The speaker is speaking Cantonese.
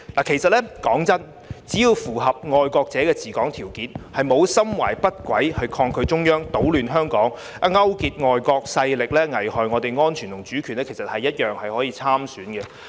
其實，坦白說，只要符合"愛國者治港"條件，沒有心懷不軌地抗拒中央、搗亂香港、勾結境外勢力危害國家安全和主權，一樣可以參選。